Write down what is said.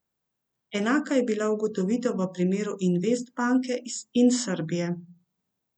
Enaka je bila ugotovitev v primeru Investbanke in Srbije.